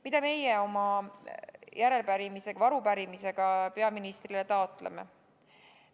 Mida meie oma arupärimisega peaministrile taotleme?